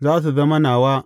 Za su zama nawa.